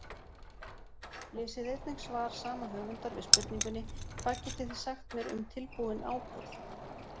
Lesið einnig svar sama höfundar við spurningunni Hvað getið þið sagt mér um tilbúinn áburð?